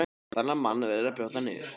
Þennan mann verður að brjóta niður.